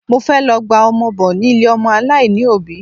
Mo fẹ́ lọ gba ọmọ bọ ni ilé ọmọ aláìní òbí